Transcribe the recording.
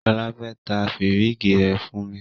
Shola fe ta firigi rẹ fun mi